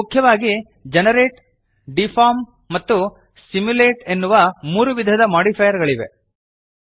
ಇಲ್ಲಿ ಮುಖ್ಯವಾಗಿ generate deform ಮತ್ತು ಸಿಮ್ಯುಲೇಟ್ ಎನ್ನುವ ಮೂರು ವಿಧದ ಮೋಡಿಫೈಯರ್ ಗಳಿವೆ